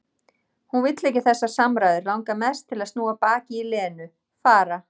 Hún vill ekki þessar samræður, langar mest til að snúa baki í Lenu, fara.